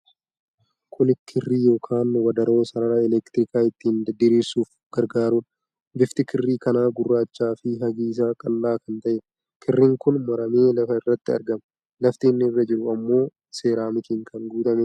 Kuni kirrii yookiin wadaroo sarara elektrikaa ittin diriirsuuf gargaarudha. Bifti kirrii kanaa gurraacha fi hagi isaa qal'aa kan ta'eedha. Kirriin kun maramee lafa irratti argama. Lafti inni irra jiru ammoo seeeramikiin kan guutamedha.